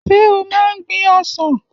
Ṣé o máa ń gbin ọsàn?